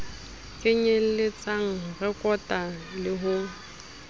kenyelletsang ho rekota le ho